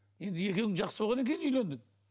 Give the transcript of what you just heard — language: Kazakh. енді екеуің жақсы болғаннан кейін үйлендің